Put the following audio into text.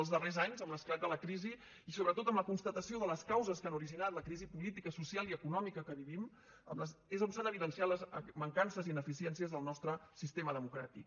els darrers anys amb l’esclat de la crisi i sobretot amb la constatació de les causes que han originat la crisi política social i econòmica que vivim és quan s’han evidenciat les mancances i ineficiències del nostre sistema democràtic